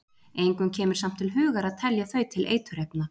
Engum kemur samt til hugar að telja þau til eiturefna.